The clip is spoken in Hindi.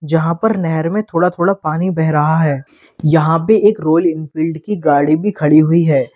जहां पर नहेर में थोड़ा थोड़ा पानी बह रहा है यहां पे एक रॉयल एनफील्ड की गाड़ी भी खड़ी हुई है।